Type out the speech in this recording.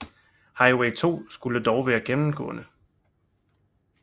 Highway 2 skulle dog være gennemgående